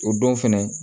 O don fɛnɛ